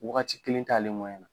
Wagati kelen t'ale na.